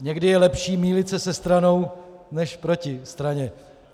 Někdy je lepší mýlit se se stranou než proti straně.